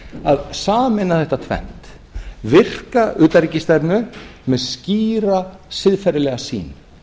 að sameina þetta tvennt virka utanríkisstefnu með skýra siðferðilega sýn